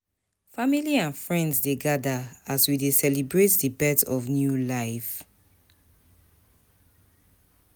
Family and friends dey gather, as we dey celebrate the birth of new life.